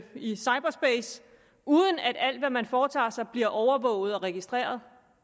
i cyberspace uden at alt hvad man foretager sig bliver overvåget og registreret